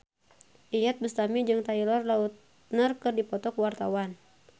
Iyeth Bustami jeung Taylor Lautner keur dipoto ku wartawan